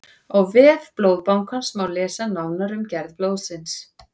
á vef blóðbankans má lesa nánar um gerð blóðsins